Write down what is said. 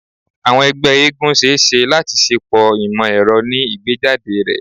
Awọn ẹgbẹ eégún ṣee ṣe lati ṣepọ imọ-ẹrọ ni igbejade rẹ